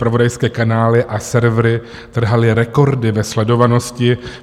Zpravodajské kanály a servery trhaly rekordy ve sledovanosti.